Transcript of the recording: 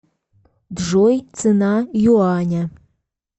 джой цена юаня